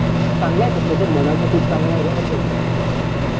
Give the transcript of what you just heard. तो चांगला आहे तसा तो मनाचा खूप चांगला आहे